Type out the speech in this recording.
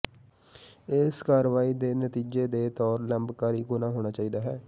ਇਸ ਕਾਰਵਾਈ ਦੇ ਨਤੀਜੇ ਦੇ ਤੌਰ ਲੰਬਕਾਰੀ ਗੁਣਾ ਹੋਣਾ ਚਾਹੀਦਾ ਹੈ